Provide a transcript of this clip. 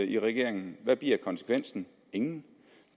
i regeringen hvad bliver konsekvensen ingen